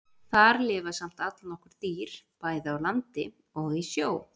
Þar lifa samt allnokkur dýr, bæði á landi og í sjó.